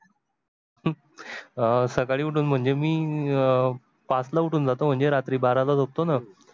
अं सकाडी उठून म्हणजे मी पाच ला उठून जातो म्हणजे रात्री बाराला झोपतो न.